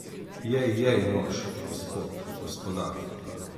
Jej, jej, mož, gospod, gospodar.